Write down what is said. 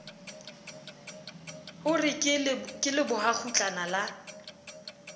o re ke lebohakgutlana la